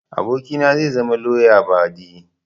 abokina zai zama lauya badi